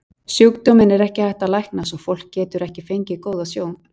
Sjúkdóminn er ekki hægt að lækna svo fólk getur ekki fengið góða sjón.